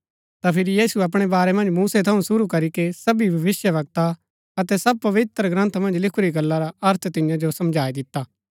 ता फिरी यीशुऐ अपणै बारै मन्ज मूसै थऊँ शुरू करीके सबी भविष्‍यवक्ता अतै सब पवित्रग्रन्थ मन्ज लिखुरी गल्ला रा अर्थ तियां जो समझाई दिता